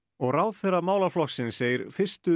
og ráðherra málaflokksins segir fyrstu